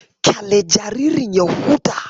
Kyale jaririn ya huta.